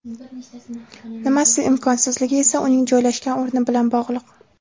Nimasi imkonsizligi esa uning joylashgan o‘rni bilan bog‘liq.